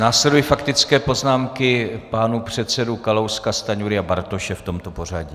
Následují faktické poznámky pánů předsedů Kalouska, Stanjury a Bartoše v tomto pořadí.